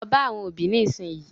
Lọ bá àwọn òbí nísìnyìí.